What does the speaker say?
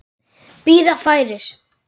Bíða færis.